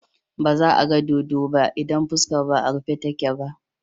Ba za a ga dodo ba idan fuskar ba a rufe take ba.